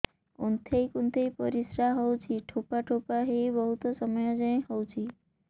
କୁନ୍ଥେଇ କୁନ୍ଥେଇ ପରିଶ୍ରା ହଉଛି ଠୋପା ଠୋପା ହେଇ ବହୁତ ସମୟ ଯାଏ ହଉଛି